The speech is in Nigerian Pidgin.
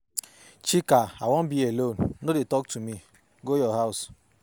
Chika I wan be alone, no dey talk to me. Go your house.